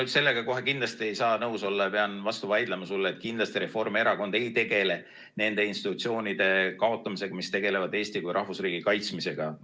Ma sellega kohe kindlasti ei saa nõus olla ja pean vastu vaidlema sulle, et kindlasti Reformierakond ei tegele nende institutsioonide kaotamisega, mis tegelevad Eesti kui rahvusriigi kaitsmisega.